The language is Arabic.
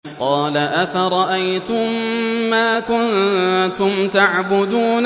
قَالَ أَفَرَأَيْتُم مَّا كُنتُمْ تَعْبُدُونَ